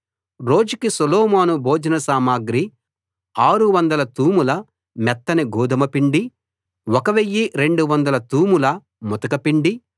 రోజుకి సొలొమోను భోజన సామగ్రి 600 తూముల మెత్తని గోదుమ పిండి 1 200 తూముల ముతక పిండి